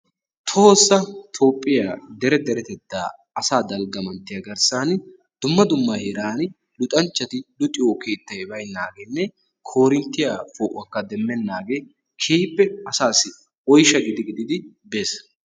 Tohossa Toophphiya dere deretettaa asaa dalgga manttiya garssan dumma dumma heeran luxanchchati luxiyo keettay baynnaageenne koorinttiya poo'uwakka demmennaagee keehippe asaassi oyshsha gidi gididi bees.